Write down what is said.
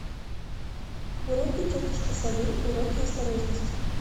уроки тетушки совы уроки осторожности